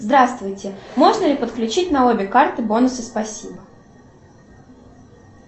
здравствуйте можно ли подключить на обе карты бонусы спасибо